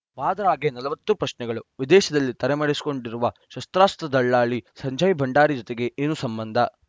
ವಾದ್ರಾಗೆ ನಲವತ್ತು ಪ್ರಶ್ನೆಗಳು ವಿದೇಶದಲ್ಲಿ ತಲೆ ಮರೆಸಿಕೊಂಡಿರುವ ಶಸ್ತ್ರಾಸ್ತ್ರ ದಲ್ಲಾಳಿ ಸಂಜಯ್‌ ಭಂಡಾರಿ ಜೊತೆಗೆ ಏನು ಸಂಬಂಧ